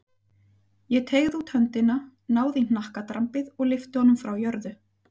Ég teygði út höndina, náði í hnakkadrambið og lyfti honum frá jörðu.